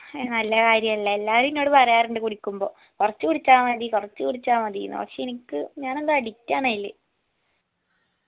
ഏർ നല്ല കാര്യല്ല എല്ലാരും എന്നോട് പറയാറുണ്ട് കുടിക്കുമ്പോ കൊറച്ച് കുടിച്ചാ മതി കൊറച്ച് കുടിച്ചാ മതിന്ന് പക്ഷെ എനിക്ക് ഞാൻ എന്തോ addict ആണയില്